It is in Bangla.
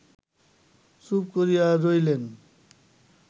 চুপ করিয়া রহিলেন